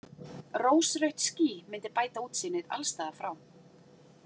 Rósrautt ský mundi bæta útsýnið alls staðar frá.